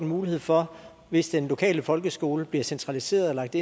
mulighed for hvis den lokale folkeskole bliver centraliseret og lagt